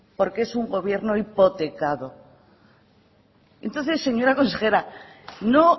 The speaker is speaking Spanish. porque es un gobierno hipotecado entonces señora consejera no